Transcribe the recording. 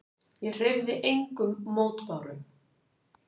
Ég hreyfði engum mótbárum.